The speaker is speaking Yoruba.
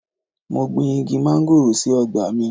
Mo gbin Igi móngòrò sí ọgbà mi.